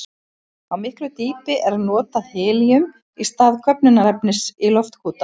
Á miklu dýpi er notað helíum í stað köfnunarefnis í loftkúta.